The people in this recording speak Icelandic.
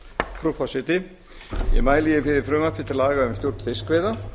frú forseti ég mæli fyrir frumvarpi til laga um stjórn fiskveiða